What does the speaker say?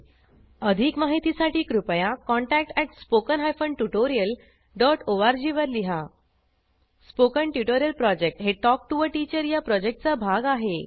अधिक माहितीसाठी कृपया contact at spoken hyphen tutorial dot ओआरजी R G spoken tutorial project हे टॉक टू टीचर या प्रॉजेक्टचा भाग आहे